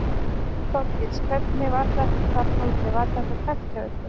Þorgils: Hvernig var þetta þarna úti, var þetta tæpt hjá ykkur?